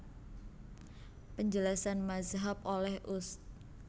Penjelasan Mazhab oleh Ust